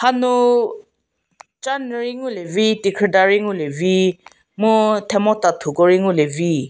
hanu chanyü rei ngu lie vi tekhrü da rei ngu lie vi mu themo tathu ko rei ngu lie vi.